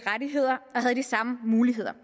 rettigheder og de samme muligheder